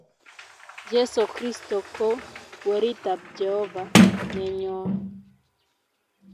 Jeso Kristo ko weritab Jehovah nenyon